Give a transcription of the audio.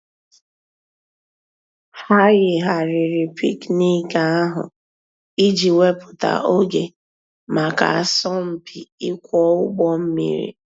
Hà yìghàrìrì picnic àhụ̀ íjì wépụ̀tà ògè mǎká àsọ̀mpị íkwọ̀ ǔgbọ̀ mmìrì.